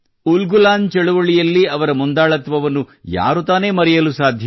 ಉಲ್ಗುಲಾನ್ ಚಳುವಳಿಯಲ್ಲಿ ಅವರ ಮುಂದಾಳತ್ವವನ್ನು ಯಾರು ತಾನೇ ಮರೆಯಲು ಸಾಧ್ಯ